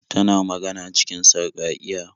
Tana magana cikin sarƙaƙiya.